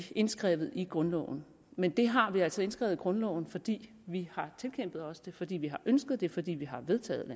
indskrevet i grundloven men det har vi altså indskrevet i grundloven fordi vi har tilkæmpet os det fordi vi har ønsket det og fordi vi har vedtaget